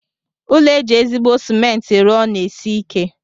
Ụlọ eji ezigbo cement rụọ na-esi ike.